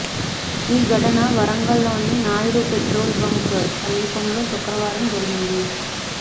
ఈ ఘటన వరంగల్లోని నాయుడు పెట్రోల్ బంకు సమీపంలో శుక్రవారం జరిగింది